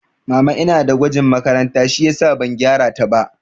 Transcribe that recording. Mama ina da gwajin makaranta shiyasa ban gyara ta ba